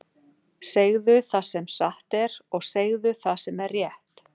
Segðu það sem satt er, og segðu það sem er rétt!